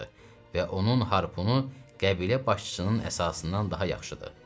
Və onun harpunu qəbilə başçısının əsasından daha yaxşıdır.